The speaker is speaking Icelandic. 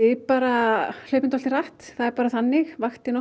bara hlaupum dálítið hratt það er bara þannig vaktin